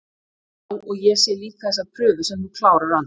Já, og ég sé líka þessa prufu sem þú klárar aldrei